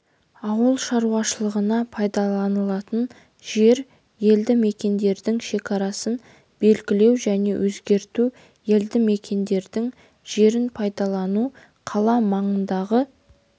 ауыл шаруашылығына пайдаланылатын жер елді мекендердің шекарасын белгілеу және өзгерту елді мекендердің жерін пайдалану қала маңындағы